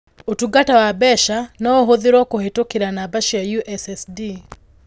Ũtungata wa mbeca no ũhũthĩrũo kũhĩtũkĩra namba cia USSD